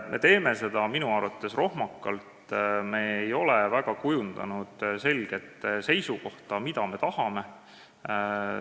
Me teeme seda minu arvates rohmakalt, me ei ole välja kujundanud selget seisukohta, mida me tahame.